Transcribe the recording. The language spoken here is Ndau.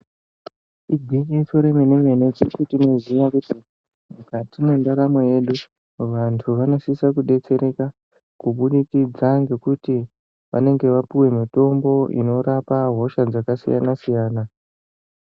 Igwinyiso remene mene teshe tinoziya kuti mukati mwendaramo yedu vantu vanosisa kudetsereka kubudikidza ngekuti vanenge vapuwe mitombo inorapa hosha dzakasiyana siyana